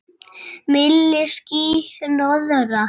Milli ský- hnoðra.